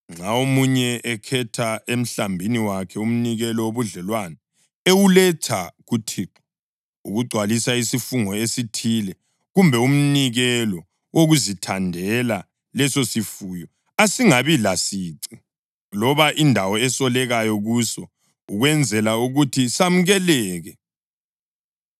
Nxa omunye ekhetha emhlambini wakhe umnikelo wobudlelwano ewuletha kuThixo ukugcwalisa isifungo esithile kumbe umnikelo wokuzithandela, lesosifuyo asingabi lasici, loba indawo esolekayo kuso ukwenzela ukuthi samukeleke.